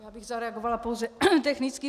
Já bych zareagovala pouze technicky.